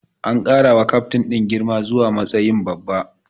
An ƙara wa kyaftin din girma zuwa matsayin babba.